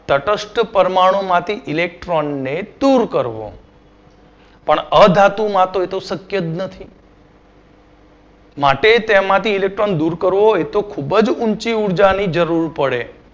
તટસ્થ પરમાણુંમાંથી electron ને દૂર કરવો. પણ અધાતુમાં તો એ તો શક્ય જ નથી. માટે તેમાંથી electron દૂર કરવો એતો ખૂબ જ ઉંચી ઉર્જાની જરુર પડે.